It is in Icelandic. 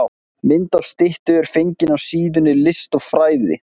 Mynd af styttu er fengin af síðunni List og fræði.